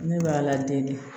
Ne b'a ladege